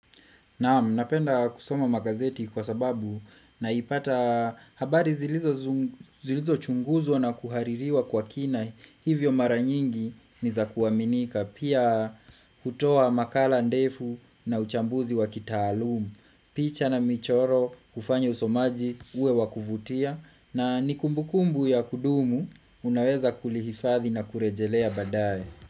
Naam, napenda kusoma magazeti kwa sababu naipata habari zilizochunguzwa na kuhaririwa kwa kina hivyo mara nyingi ni za kuaminika. Pia kutoa makala ndefu na uchambuzi wa kitaalum, picha na michoro, hufanya usomaji, uwe wa kuvutia na ni kumbukumbu ya kudumu unaweza kulihifathi na kurejelea baadae.